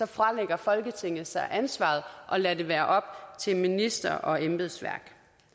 fralægger folketinget sig ansvaret og lader det være op til minister og embedsværk